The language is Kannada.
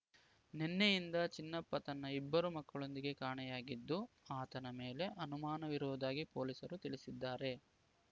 ನಿನ್ನೆಯಿಂದ ಚಿನ್ನಪ್ಪ ತನ್ನ ಇಬ್ಬರು ಮಕ್ಕಳೊಂದಿಗೆ ಕಾಣೆಯಾಗಿದ್ದು ಆತನ ಮೇಲೆ ಅನುಮಾನವಿರುವುದಾಗಿ ಪೊಲೀಸರು ತಿಳಿಸಿದ್ದಾರೆ